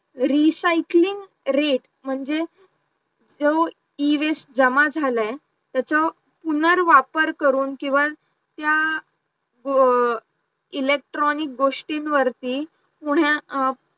recycling rate म्हणजे जो Ewaste जमा झाला आहे त्याचा पुनर्वापर करून किंवा त्या electronic गोष्टींवरती